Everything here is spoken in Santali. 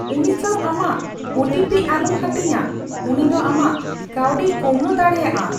ᱩᱱᱤ ᱥᱟᱣ ᱟᱢᱟᱜ ᱳ ᱴᱤ ᱯᱤ ᱟᱞᱚᱢ ᱦᱟᱹᱴᱤᱧᱟ ᱾ ᱩᱱᱤ ᱫᱚ ᱟᱢᱟᱜ ᱠᱟᱹᱣᱰᱤᱭ ᱠᱚᱢᱵᱲᱚ ᱫᱟᱲᱮᱭᱟᱜᱼᱟ ᱾